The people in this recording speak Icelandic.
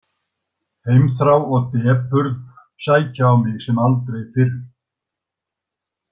Heimþrá og depurð sækja á mig sem aldrei fyrr.